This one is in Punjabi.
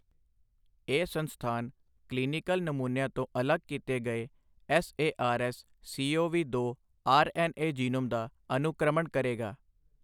ਇਹ ਸੰਸਥਾਨ ਕਲੀਨੀਕਲ ਨਮੂਨਿਆਂ ਤੋਂ ਅਲੱਗ ਕੀਤੇ ਗਏੇ ਐੱਸਏਆਰਐੱਸ ਸੀਓਵੀ ਦੋ ਆਰਐੱਨਏ ਜੀਨੋਮ ਦਾ ਅਨੁਕ੍ਰਮਣ ਕਰੇਗਾ।